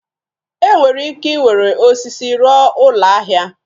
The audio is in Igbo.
E nwere ike iwere osisi rụọ ụlọ ahịa.